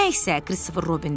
“Nə isə,” Kristofer Robin dedi.